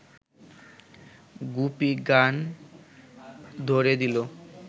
গুপি গান ধ’রে দিল